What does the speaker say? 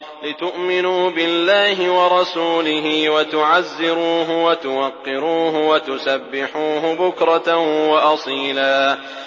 لِّتُؤْمِنُوا بِاللَّهِ وَرَسُولِهِ وَتُعَزِّرُوهُ وَتُوَقِّرُوهُ وَتُسَبِّحُوهُ بُكْرَةً وَأَصِيلًا